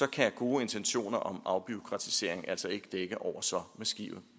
kan gode intentioner om afbureaukratisering altså ikke dække over så massive